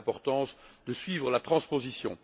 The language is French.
D'où l'importance de suivre la transposition.